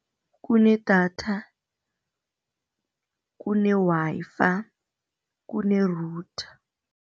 Kunedatha, kune-Wi-Fi, kune-router.